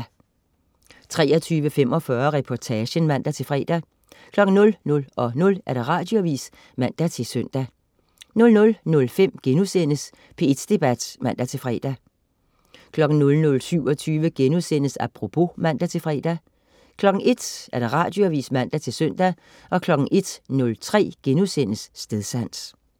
23.45 Reportagen (man-fre) 00.00 Radioavis (man-søn) 00.05 P1 Debat* (man-fre) 00.27 Apropos* (man-fre) 01.00 Radioavis (man-søn) 01.03 Stedsans*